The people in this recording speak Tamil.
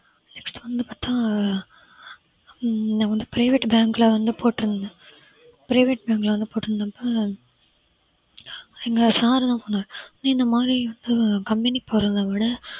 next வந்துபார்த்தா ஹம் நான் வந்து private bank ல வந்து போட்டிருந்தேன் private bank ல வந்து போட்டு இருந்தப்ப எங்க sir எல்லாம் சொன்னாரு அது இந்த மாதிரி company க்கு போறத விட